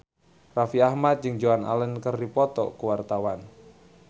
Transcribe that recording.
Raffi Ahmad jeung Joan Allen keur dipoto ku wartawan